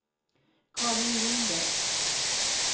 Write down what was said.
Karin Linder